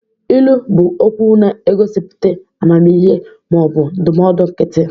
Ilu bụ okwu na-egosipụta amamihe ma ọ bụ ndụmọdụ nkịtị.